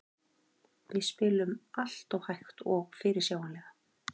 Við spiluðum alltof hægt og fyrirsjáanlega.